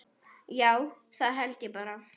Já, það held ég bara.